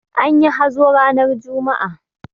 Anyi hazo ranar juma'a.